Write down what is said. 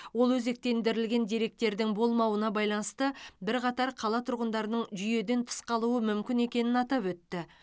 ол өзектілендірілген деректердің болмауына байланысты бірқатар қала тұрғындарының жүйеден тыс қалуы мүмкін екенін атап өтті